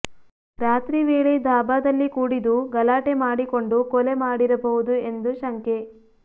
ರಾತ್ರಿವೇಳೆ ದಾಭಾ ದಲ್ಲಿ ಕೂಡಿದು ಗಲಾಟೆ ಮಾಡಿಕೊಂಡು ಕೋಲೆ ಮಾಡಿರಬಹುದು ಎಂದು ಶಂಕೆ